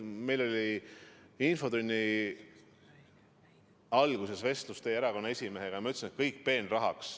Meil oli infotunni alguses vestlus teie erakonna esimehega ja ma ütlesin, et kõik peenrahaks.